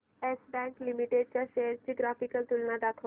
yes Bank Limited च्या shares ची graphical तुलना दाखव